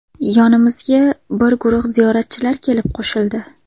Yonimizga bir guruh ziyoratchilar kelib qo‘shildi.